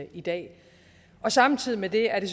i dag samtidig med det er det